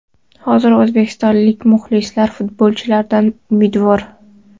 Hozir o‘zbekistonlik muxlislar futbolchilardan umidvor.